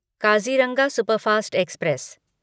Kaziranga superfast express